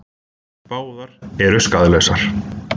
Báðar eru skaðlausar.